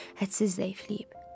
Hədsiz zəifliyib.